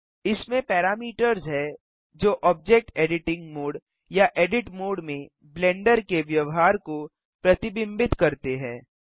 इसमें पैरामीटर्स हैं जो ऑब्जेक्ट एडिटिंग मोड या एडिट मोड में ब्लेंडर के व्यवहार को प्रतिबिंबित करते हैं